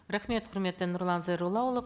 рахмет құрметті нұрлан зайроллаұлы